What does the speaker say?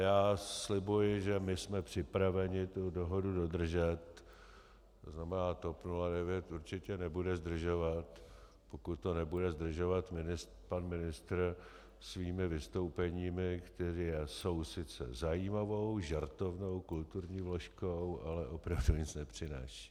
Já slibuji, že my jsme připraveni tu dohodu dodržet, to znamená TOP 09 určitě nebude zdržovat, pokud to nebude zdržovat pan ministr svými vystoupeními, která jsou sice zajímavou, žertovnou kulturní vložkou, ale opravdu nic nepřinášejí.